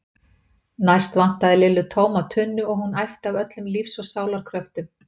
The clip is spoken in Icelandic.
Næst vantaði Lillu tóma tunnu og hún æpti af öllum lífs og sálar kröftum